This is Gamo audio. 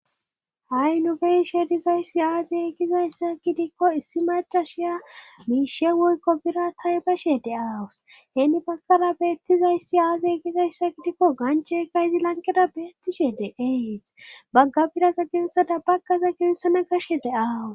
Ha'i nubeishe dizayssi aazeegizayssa kitikko issi macashiya miishe wuykko bira tay bashe deaawus heeni bagkara beettizayssi aaze gizayssa kitikko ganche kayzi lankera beettishe de ees bagga biraza genesada bagkaza genesana kashe deaawus